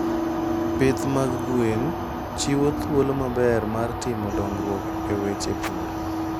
Pith mag gwen chiwo thuolo maber mar timo dongruok e weche pur.